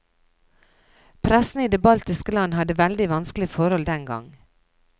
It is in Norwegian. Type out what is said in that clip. Pressen i de baltiske land hadde veldig vanskelige forhold den gang.